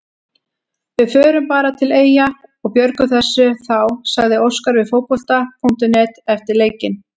Við förum bara til Eyja og björgum þessu þá, sagði Óskar við Fótbolta.net eftir leikinn.